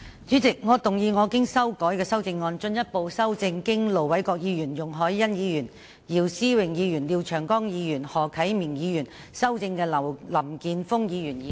主席，我動議我經修改的修正案，進一步修正經盧偉國議員、容海恩議員、姚思榮議員、廖長江議員及何啟明議員修正的林健鋒議員議案。